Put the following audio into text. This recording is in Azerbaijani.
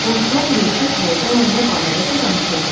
Qonşular yığışıb həyəcanla nə barədəsə danışırdılar.